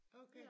Okay